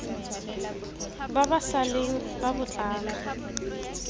ba ba sa leng babotlana